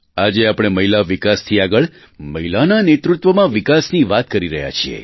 આજે આપણે મહિલા વિકાસથી આગળ મહિલાના નેતૃત્વમાં વિકાસની વાત કરી રહ્યા છીએ